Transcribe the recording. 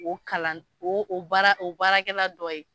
O kalan o o baara o baarakɛla dɔ ye.